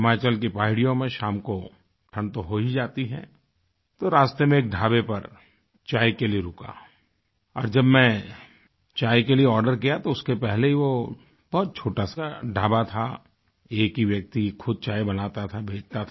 हिमाचल की पहाड़ियों में शाम को ठण्ड तो हो ही जाती है तो रास्ते में एक ढाबे पर चाय के लिये रुका और जब मैं चाय के लिए आर्डर किया तो उसके पहले वो बहुत छोटा सा ढाबा था एक ही व्यक्ति खुद चाय बनाता था बेचता था